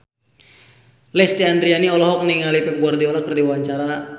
Lesti Andryani olohok ningali Pep Guardiola keur diwawancara